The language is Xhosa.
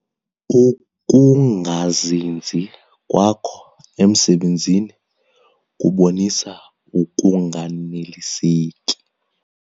Ukungazinzi kwakho emisebenzini kubonisa ukunganeliseki.